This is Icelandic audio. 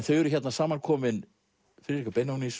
þau eru hérna saman komin Friðrika